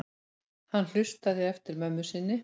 Hann hlustaði eftir mömmu sinni.